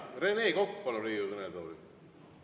Rene Kokk, palun Riigikogu kõnetooli!